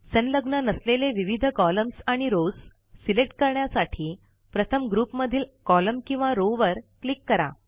संलग्न नसलेले विविध कॉलम्स आणि रॉव्स सिलेक्ट करण्यासाठी प्रथम ग्रुप मधील कॉलम किंवा रॉव वर क्लिक करा